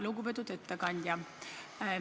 Lugupeetud ettekandja!